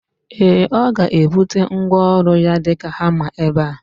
Ee, ọga ebute ngwaọru ya dika hama ebe